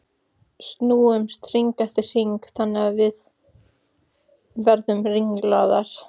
Snúumst hring eftir hring þangað til við verðum ringlaðar.